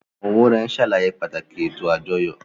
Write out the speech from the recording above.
Àwọn wúrẹ́n ń ṣàlàyé pàtàkì ètò àjọyọ̀